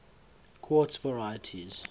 quartz varieties